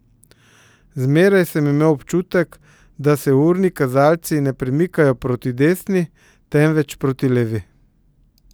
Zmeraj sem imel občutek, da se urni kazalci ne premikajo proti desni, temveč proti levi.